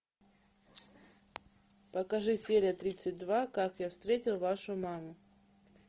покажи серия тридцать два как я встретил вашу маму